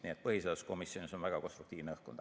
Nii et põhiseaduskomisjonis on väga konstruktiivne õhkkond.